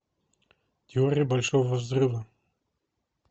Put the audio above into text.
теория большого взрыва